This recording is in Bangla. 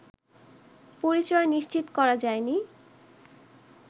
পরিচয় নিশ্চিত করা যায়নি